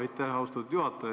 Aitäh, austatud juhataja!